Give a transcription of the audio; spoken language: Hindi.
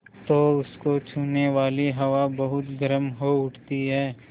तो उसको छूने वाली हवा बहुत गर्म हो उठती है